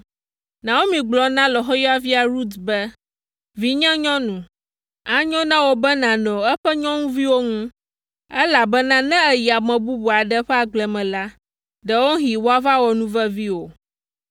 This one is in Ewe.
Naomi gblɔ na lɔ̃xoyɔvia Rut be, “Vinyenyɔnu, anyo na wò be nànɔ eƒe nyɔnuviwo ŋu, elabena ne èyi ame bubu aɖe ƒe agble me la, ɖewohĩ woava wɔ nuvevi wò.”